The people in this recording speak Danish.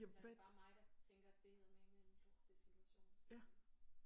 Er det bare mig der tænker at det er eddermame en lortesituation som de er i?